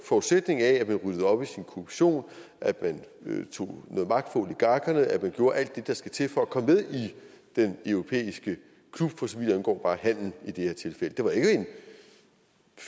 forudsætning af at man ryddede op i sin korruption at man tog noget magt oligarkerne at man gjorde alt det der skal til for at komme med i den europæiske klub for så vidt angår bare handel i det her tilfælde det var ikke